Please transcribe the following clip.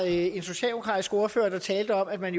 en socialdemokratisk ordfører der talte om at man